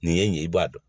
Nin ye nin ye i b'a dɔn